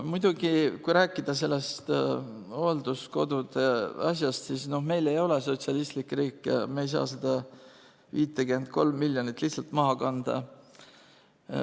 Muidugi, kui rääkida sellest hoolduskodude asjast, siis meil ei ole sotsialistlik riik, me ei saa seda 53 miljonit lihtsalt maha kanda.